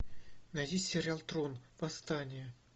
найди сериал трон восстание